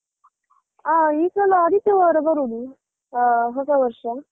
ಹಾ ಈ ಸಲ ಆದಿತ್ಯವಾರ ಬರುದು, ಹ ಹೊಸ ವರ್ಷ.